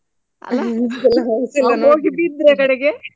ಅಲ್ಲಾ ಹೋಗಿ ಬಿದ್ರೆ ಕಡೆಗೆ.